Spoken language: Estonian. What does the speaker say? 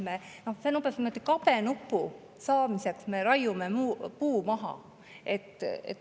See on umbes nagu see, et kabenupu saamiseks me raiume puu maha.